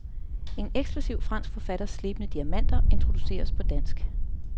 En eksklusiv fransk forfatters slebne diamanter introduceres på dansk.